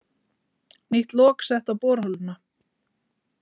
Nýtt lok sett á borholuna